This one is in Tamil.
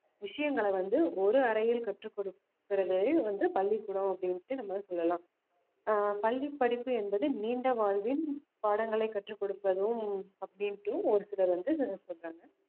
விஷயங்கள வந்து ஒரு அறையில் கற்றுக் கொடுக்கிறது வந்து பள்ளிக்கூடம் அப்படின்னுட்டு நம்ம சொல்லலாம் ஆஹ் பள்ளிப் படிப்பு என்பது நீண்ட வாழ்வின் பாடங்கள கற்றுக் கொடுப்பதும் அப்படின்னுட்டு ஒரு சிலர் வந்து சொல்றாங்க